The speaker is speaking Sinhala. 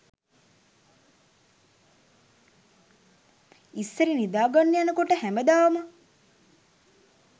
ඉස්සර නිදාගන්න යනකොට හැමදාම